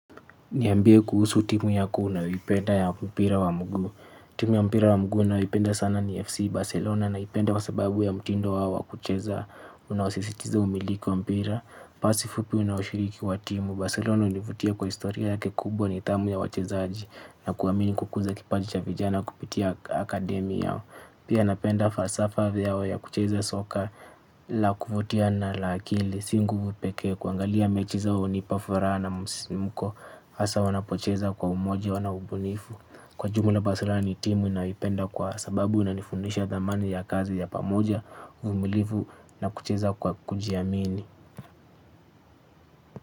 Niambie kuhusu timu yako unayoipenda ya mpira wa mguu. Timu ya mpira wa mguu ninayoipenda sana ni FC Barcelona naipenda kwa sababu ya mtindo wao wakucheza unaosisitiza umiliki wa mpira. Pasi fupi unaushiriki wa timu. Barcelona univutia kwa historia ya ke kubwa nithamu ya wachezaji na kuamini kukuza kipaji cha vijana kupitia akademi yao. Pia napenda falsafa vyao ya kucheza soka la kufutia na la akili singuvu pekee kuangalia mechi zao hunipa furaha na msimuko. Asa wanapocheza kwa umoja wana ubunifu. Kwa jumla barcelona ni timu ninayoipenda kwa sababu inanifundisha dhamani ya kazi ya pamoja. Umulifu na kucheza kwa kujiamini.